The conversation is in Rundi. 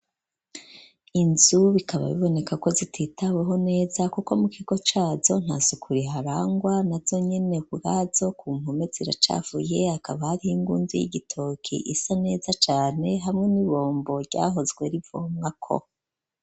Inzu bikaba biboneka ko zititaweho neza, kuko mu kigo cazo nta suku riharangwa, nazo nyene ubwazo ku mpome ziracafuye, hakaba hariho ingundu y'igitoki isa neza cane, hamwe n'ibombo ryahozwe rivomwako.